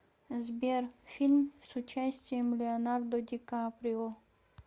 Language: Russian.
сбер фильм с участием леонардо дикаприо